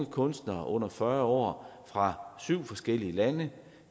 kunstnere under fyrre år fra syv forskellige lande